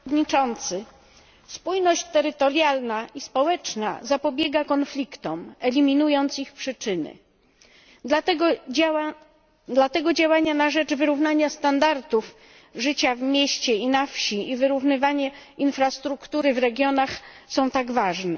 Panie Przewodniczący! Spójność terytorialna i społeczna zapobiega konfliktom, eliminując ich przyczyny. Dlatego działania na rzecz wyrównania standardów życia w mieście i na wsi i wyrównywanie infrastruktury w regionach są tak ważne.